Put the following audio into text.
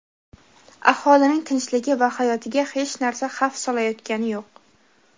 aholining tinchligi va hayotiga hech narsa xavf solayotgani yo‘q.